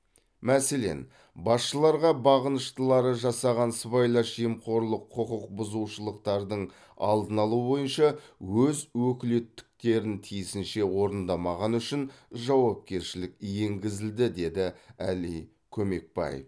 мәселен басшыларға бағыныштылары жасаған сыбайлас жемқорлық құқық бұзушылықтардың алдын алу бойынша өз өкілеттіктерін тиісінше орындамағаны үшін жауапкершілік енгізілді деді әли көмекбаев